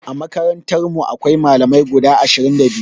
A makarantarmu akwai Malamai guda ashirin da biyu.